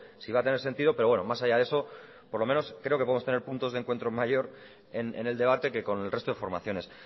si va a tener sentido pero bueno más allá de eso por lo menos creo que podemos tener puntos de encuentro mayor en el debate que con el resto de formaciones